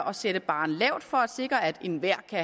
og sætte barren lavt for at sikre at enhver kan